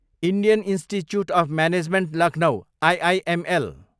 Indian institute of management Lucknow, IIML